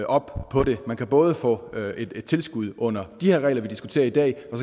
op på det man kan både få et tilskud under de regler vi diskuterer i dag og